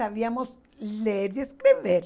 Sabíamos ler e escrever.